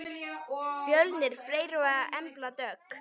Fjölnir Freyr og Embla Dögg.